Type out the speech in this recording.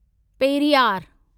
Periyar